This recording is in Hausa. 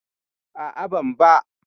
A'a, ban ba.